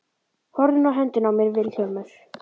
Horfðu nú á höndina á mér Vilhjálmur.